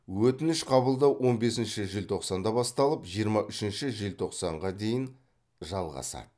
өтініш қабылдау он бесінші желтоқсанда басталып жиырма үшінші желтоқсанға дейін жалғасады